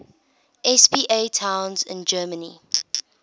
spa towns in germany